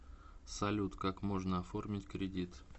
салют как можно оформить кредит